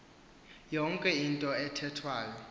yonke into ethethwayo